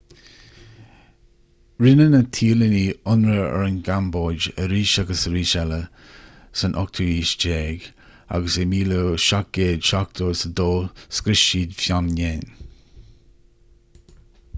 rinne na téalannaigh ionradh ar an gcambóid arís agus arís eile san 18ú haois agus i 1772 scrios siad phnom phen